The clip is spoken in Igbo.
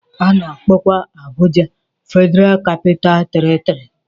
A na-akpọkwa Abuja Federal Capital Territory.